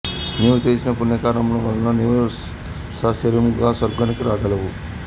నీవు చేసిన పుణ్యకార్యముల వలన నీవు సశరీరముగా స్వర్గానికి రాగలిగావు